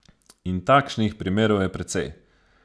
In takšnih primerov je precej.